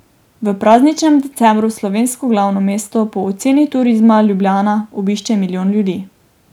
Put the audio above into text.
V prazničnem decembru slovensko glavno mesto po oceni Turizma Ljubljana obišče milijon ljudi.